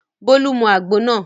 Bólú mu àgbo náà.